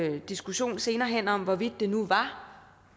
en diskussion senere hen om hvorvidt det nu var